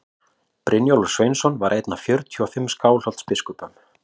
brynjólfur sveinsson var einn af fjörutíu og fimm skálholtsbiskupum